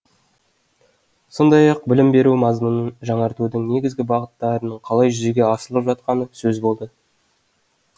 сондай ақ білім беру мазмұнын жаңартудың негізгі бағыттарының қалай жүзеге асырылып жатқаны сөз болды